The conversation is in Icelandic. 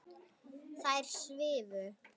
Þær svifu.